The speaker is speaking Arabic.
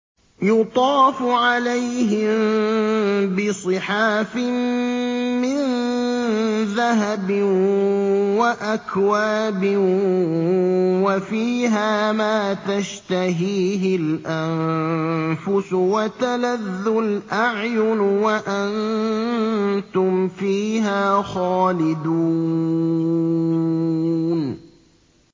يُطَافُ عَلَيْهِم بِصِحَافٍ مِّن ذَهَبٍ وَأَكْوَابٍ ۖ وَفِيهَا مَا تَشْتَهِيهِ الْأَنفُسُ وَتَلَذُّ الْأَعْيُنُ ۖ وَأَنتُمْ فِيهَا خَالِدُونَ